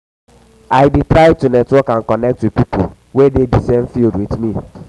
wetin you dey do to find new opportunity you you get any plan?